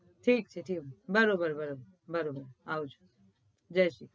ઠીક ઠીક ઠીક છે બરોબર બરોબર બરોબર આવજો જય શ્રી ક્રષ્ણ.